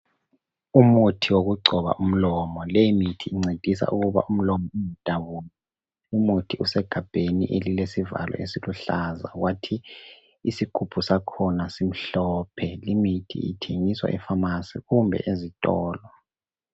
Umuthi wokugcoba umlomo. Leyimithi incedisa ukuba umlomo ngadabuki. Umuthi usegabheni elilesivalo esiluhlaza kwathi isigubhu sakhona simhlophe. Limithi ithengiswa epharmacy kumbe ezitolo.